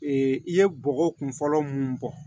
i ye bɔgɔ kun fɔlɔ mun bɔ